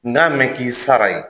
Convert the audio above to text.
N k'a mɛn k'i sara yen